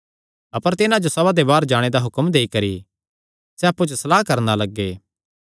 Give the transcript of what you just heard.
अपर तिन्हां जो सभा ते बाहर जाणे दा हुक्म देई करी सैह़ अप्पु च सलाह करणा लग्गे